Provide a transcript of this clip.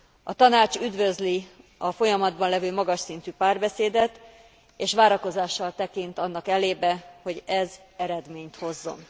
A Tanács üdvözli a folyamatban levő magas szintű párbeszédet, és várakozással tekint annak elébe, hogy ez eredményt hozzon.